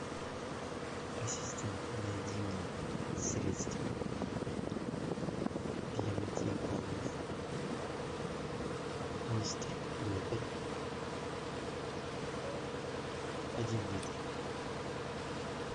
ассистент найди мне средство для мытья полов мистер пропер один литр